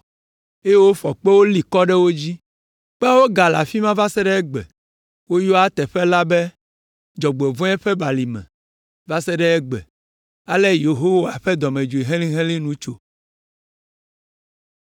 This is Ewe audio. eye wofɔ kpewo li kɔ ɖe wo dzi. Kpeawo gale afi ma va se ɖe egbe. Wogayɔa teƒe la be “Dzɔgbevɔ̃e Ƒe Balime” va se ɖe egbe. Ale Yehowa ƒe dɔmedzoe helĩhelĩ la nu tso.